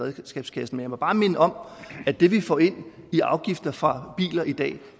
af redskabskassen jeg må bare minde om at det vi får ind i afgifter fra biler i dag